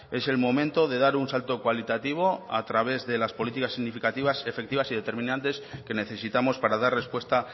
es el momento de dar un salto cualitativo a través de las políticas significativas efectivas y determinantes que necesitamos para dar respuesta